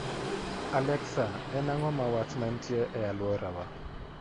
alexa en ang'o ma wach mantie e alworawa